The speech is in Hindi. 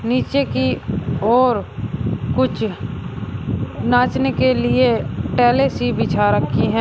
नीचे की ओर कुछ नाचने के लिए टैले सी बिछा रखी है।